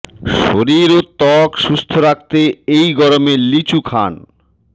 শরীর ও ত্বক সুস্থ রাখতে এই গরমে লিচু খান